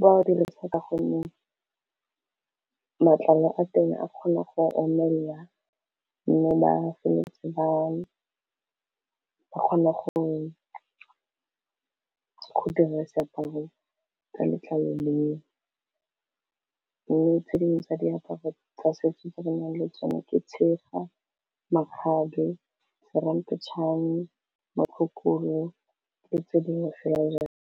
ba go dirisa ka gonne matlalo a teng a kgona go omelela mme ba feleletse ba kgona go dira seaparo sa letlalo leo mme tse dingwe tsa diaparo tsa setso tse renang le tsone ke tshega, makgabe, seramphetšhane, motlhokolo, le tse dingwe fela le jalo.